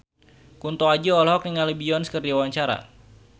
Kunto Aji olohok ningali Beyonce keur diwawancara